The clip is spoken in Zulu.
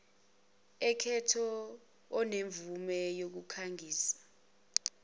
aketho onemvume yokukhangisa